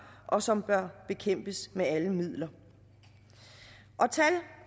og som bør bekæmpes med alle midler tal